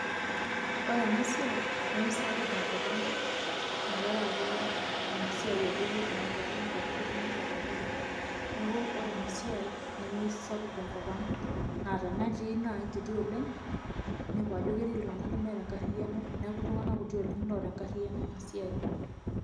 Ore ena siai nemesapuk tenkop ang' tenkaraki ina siai ake yie e network inepu ajo keti network abori. Neeku ore ena siai nemesapuk tenkop ang' naa tenaa etii naa kiti oleng', inepu ajo ketii iltung'anak lemeeta enkariano neeku iltung'anak kutik oleng' loota enkariano ena siai.